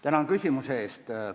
Tänan küsimuse eest!